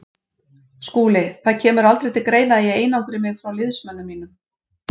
SKÚLI: Það kemur aldrei til greina að ég einangri mig frá liðsmönnum mínum.